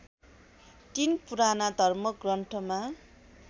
३ पुराना धर्मग्रन्थमा